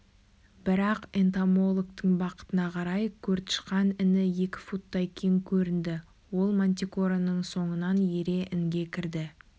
бірақ энтомологтың бақытына қарай көртышқан іні екі футтай кең көрінді ол мантикораның соңынан ере інге кірді